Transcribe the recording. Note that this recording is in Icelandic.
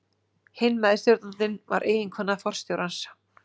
Hinn meðstjórnandinn var eiginkona forstjórans.